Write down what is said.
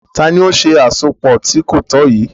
Tànì o ṣẹ̀ àsọpọ̀ tì kò tọ̀ yíì?